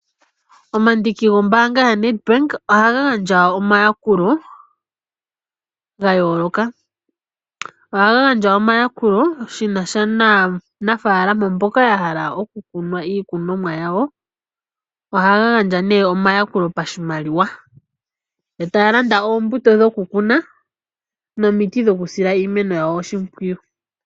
Omandiki gombaanga yaNedbank ohaga gandja omayakulo ga yooloka. Ohaga gandja omayakulo shi na sha naanafaalama mboka ya hala okukuna iikunomwa yawo. Ohaya gandja nduno omayakulo pashimaliwa, yo taa landa oombuto dhokukuna, nomiti dhokusila iimeno yawo oshimpwiyu.